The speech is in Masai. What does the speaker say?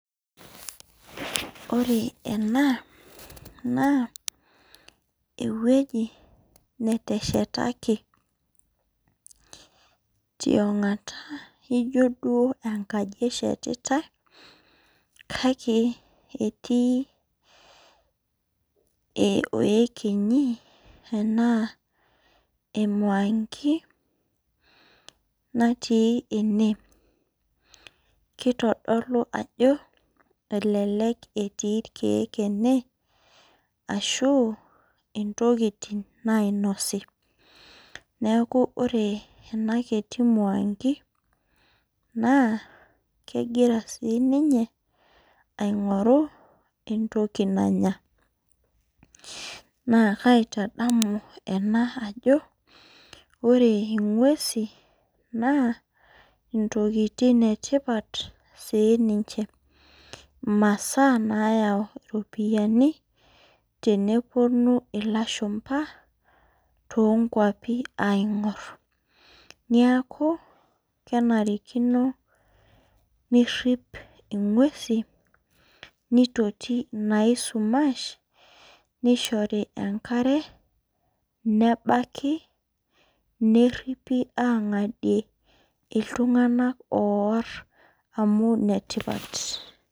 Ore ena na ewueji neteshetaki tiongata ijo duo enkaji eshetitar kake etii iekenyi natii ene kitodolu ajo elelek etii irkiek ene ashu ntokitin nainosi neaku ore enakitimwangi n kegira sininye aingoru entoki nanga na kaitadamu ena ajo ore ngwesi na ntokitin etipat sinche masaa namyau ropiyani teneponu lashumba tonkwapi adol neaku kenarikino niripi ingwesi nitoti naisumash nishori enkare neripi angadie ltunganak ooar amu enetipat.